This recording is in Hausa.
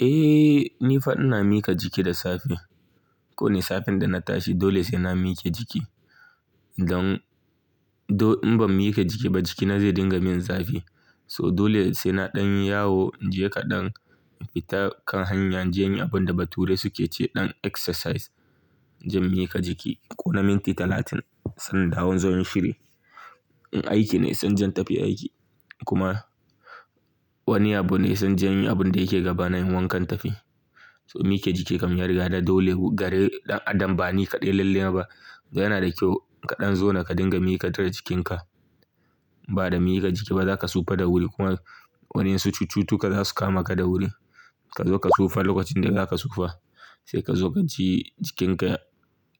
Eh, ni fa ina mika jiki da safe. Kowani safe idan na tashi dole sai na mike jiki. Don in ban mika jiki ba jikina zai dinga min zafi. So dole sai na ɗan yi yawo, inje kaɗan in fita kan hanya, in je in yi abin da bature su ke ce ɗan exercise. In je in mika jiki ko na minti talatin san nan in dawo inzo inyi shiri. In aiki ne, sai inje tafi aiki. Kuma wani abu ne zan je in yi abin da yake gaba na yi wankan in tafiya. So mike jiki kam yariga ya da dole. Gare ɗan adam ba ni kaɗai lalle ba. Yana da kyau kaɗan zona ka dinga miƙatar da jikinka. Ba da mika jiki ba za ka sufaa da wuri kuma wadansu cututtuka za su kama ka da wuri. Ka zo ka sufaa lokacin da za ka sufaa. Sai ka zo ka ji jikinka